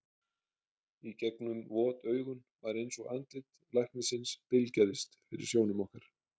Í gegnum vot augun var eins og andlit læknisins bylgjaðist fyrir sjónum okkar.